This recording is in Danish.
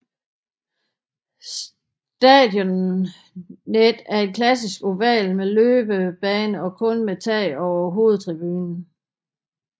Stadionet er en klassisk oval med løbebane og kun med tag over hovedtribunen